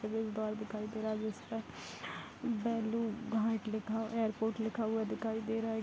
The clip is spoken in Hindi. दिखाई दे रहा है जिसका घाट लिखा एअरपोर्ट लिखा हुआ दिखाई दे रहा है |